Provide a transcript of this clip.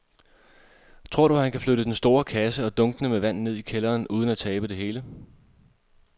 Tror du, at han kan flytte den store kasse og dunkene med vand ned i kælderen uden at tabe det hele?